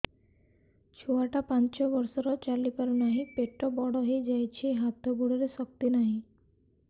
ଛୁଆଟା ପାଞ୍ଚ ବର୍ଷର ଚାଲି ପାରୁ ନାହି ପେଟ ବଡ଼ ହୋଇ ଯାଇଛି ହାତ ଗୋଡ଼ରେ ଶକ୍ତି ନାହିଁ